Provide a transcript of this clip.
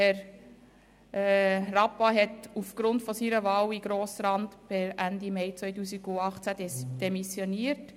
Herr Rappa hat aufgrund seiner Wahl in den Grossen Rat per Ende Mai 2018 demissioniert.